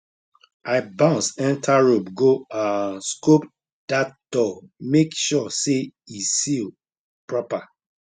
i bounce enter robe go um scope that door make sure say e seal proper